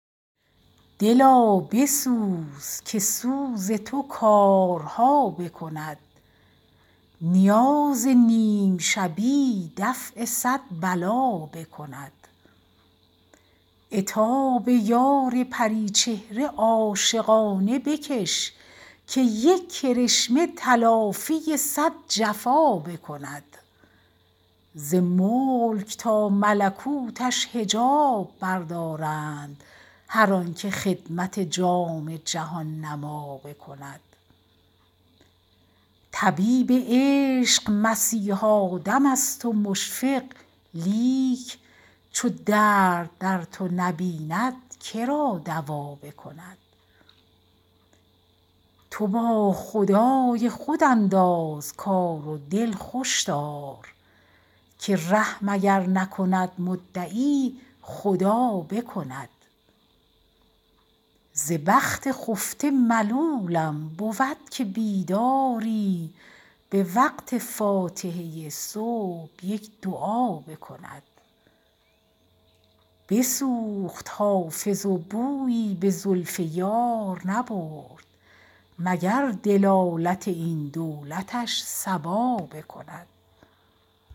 دلا بسوز که سوز تو کارها بکند نیاز نیم شبی دفع صد بلا بکند عتاب یار پری چهره عاشقانه بکش که یک کرشمه تلافی صد جفا بکند ز ملک تا ملکوتش حجاب بردارند هر آن که خدمت جام جهان نما بکند طبیب عشق مسیحا دم است و مشفق لیک چو درد در تو نبیند که را دوا بکند تو با خدای خود انداز کار و دل خوش دار که رحم اگر نکند مدعی خدا بکند ز بخت خفته ملولم بود که بیداری به وقت فاتحه صبح یک دعا بکند بسوخت حافظ و بویی به زلف یار نبرد مگر دلالت این دولتش صبا بکند